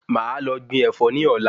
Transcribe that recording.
Máà lọ gbin Ẹ̀fọ́ ni ọ̀la